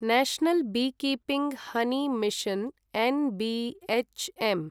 national beekeeping honey mission N B H M